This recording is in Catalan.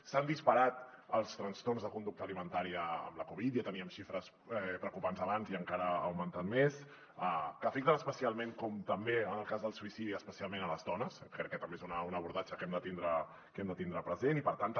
s’han disparat els trastorns de conducta alimentària amb la covid ja teníem xifres preocupants abans i encara ha augmentat més que afecten especialment com també en el cas del suïcidi les dones crec que també és un abordatge que hem de tindre present i per tant també